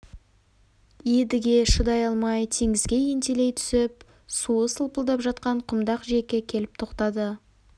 едіге шыдай алмай теңізге ентелей түсіп суы сылпылдап жатқан құмдақ жиекке келіп тоқтады